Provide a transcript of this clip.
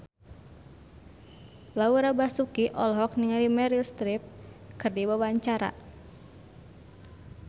Laura Basuki olohok ningali Meryl Streep keur diwawancara